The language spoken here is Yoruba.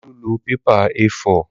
Olú lọ pépà A4